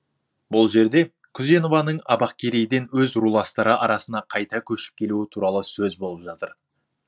бұл жерде күзенованың абақкерейден өз руластары арасына қайта көшіп келуі туралы сөз болып жатыр